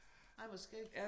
Ej hvor skægt